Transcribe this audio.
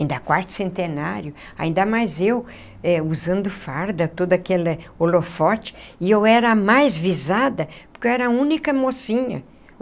Ainda Quarto Centenário, ainda mais eu, usando farda, todo aquele holofote, e eu era a mais visada, porque eu era a única mocinha.